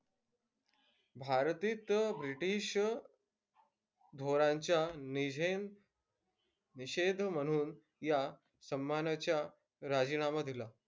भारतीत ब्रिटिश धोरणांच्या निषेध निषेध म्हणून या सम्मानाचा राजीनामा दिला.